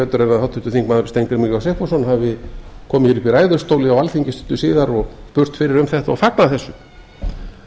betur en háttvirtur þingmaður steingrímur j sigfússon hafi komið hér upp í ræðustól á alþingi síðar og spurst fyrir um þetta og fagnað þessu en